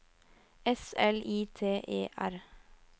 S L I T E R